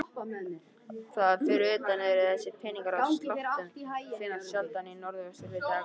Þar fyrir utan eru þessir peningar af sláttum sem finnast sjaldan í norðvesturhluta Evrópu.